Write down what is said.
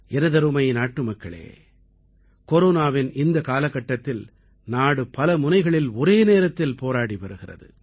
எனதருமை நாட்டுமக்களே கொரோனாவின் இந்தக் காலகட்டத்தில் நாடு பல முனைகளில் ஒரே நேரத்தில் போராடி வருகிறது